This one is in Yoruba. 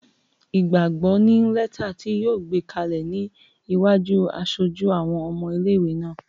Wọ́n fún Ìgbàgbọ́ ní lẹ́tà ti yóò gbé kalẹ̀ ní iwájú aṣojú àwọn ọmọ ilé-ìwé náà